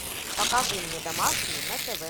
покажи мне домашний на тв